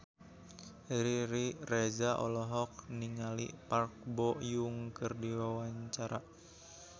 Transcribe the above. Riri Reza olohok ningali Park Bo Yung keur diwawancara